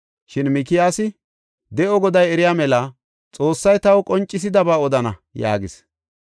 Shin Mikiyaasi, “De7o Goday eriya mela, Xoossay taw qoncisidaba odana” yaagis.